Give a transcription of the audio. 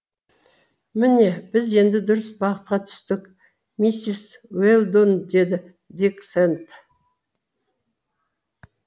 міне біз енді дұрыс бағытқа түстік миссис уэлдон деді дик сэнд